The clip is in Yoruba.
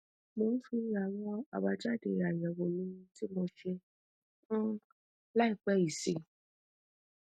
mo ń fi àwọn abajade ayewo mi tí mo ṣe um ĺàìpẹ yìí sí i